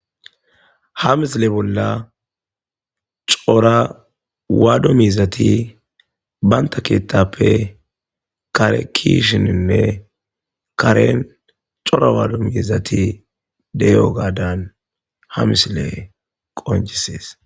ha misile bolla cora waado mizati banta keettappe kare kishininne karen cora waado miizati deyo gaadan ha misile qonjisees